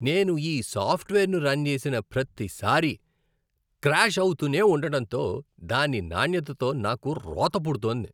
నేను ఈ సాఫ్ట్వేర్ను రన్ చేసిన ప్రతిసారీ క్రాష్ అవుతూనే ఉండటంతో దాని నాణ్యతతో నాకు రోత పుడుతోంది.